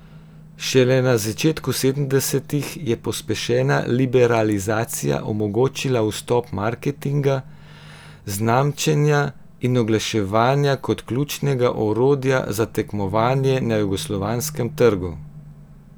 Šele na začetku sedemdestih je pospešena liberalizacija omogočila vstop marketinga, znamčenja in oglaševanja kot ključnega orodja za tekmovanje na jugoslovanskem trgu.